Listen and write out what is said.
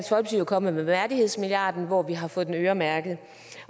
jo kommet med værdighedsmilliarden hvor vi har fået den øremærket